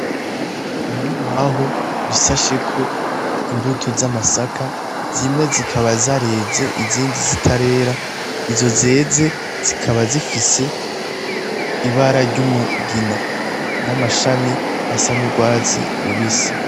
Ibibaho bisasheko imbuto z'amasaka zimwe zikaba zareze izindi zitarera izo zeze zikaba zifise ibara ry'umugina n'amashami asa n'urwatsi rubisi.